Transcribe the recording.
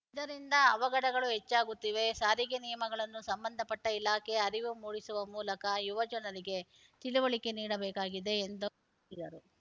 ಇದರಿಂದ ಅವಘಡಗಳು ಹೆಚ್ಚಾಗುತ್ತಿವೆ ಸಾರಿಗೆ ನಿಯಮಗಳನ್ನು ಸಂಬಂಧಪಟ್ಟಇಲಾಖೆ ಅರಿವು ಮೂಡಿಸುವ ಮೂಲಕ ಯುವ ಜನರಿಗೆ ತಿಳಿವಳಿಕೆ ನೀಡಬೇಕಾಗಿದೆ ಎಂದು ತಿದರು